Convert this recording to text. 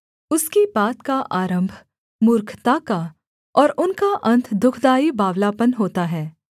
उसकी बात का आरम्भ मूर्खता का और उनका अन्त दुःखदाई बावलापन होता है